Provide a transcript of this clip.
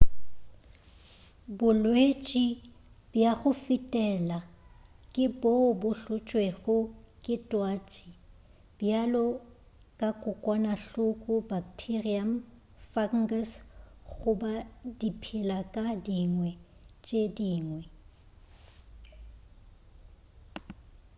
bolwetši bja go fetela ke boo bo hlotšwego ke twatši bjalo ka kokwanahloko bakteriam fungus goba diphelakadingwe tše dingwe